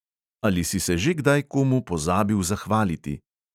Ali si se že kdaj komu pozabil zahvaliti?